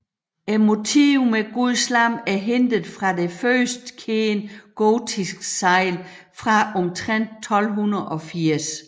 Motivet med guds lam er hentet fra det første kendte gotiske segl fra omtrent 1280